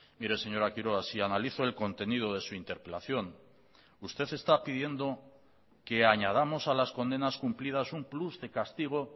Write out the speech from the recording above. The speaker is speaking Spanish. mire señora quiroga si analizo el contenido de su interpelación usted está pidiendo que añadamos a las condenas cumplidas un plus de castigo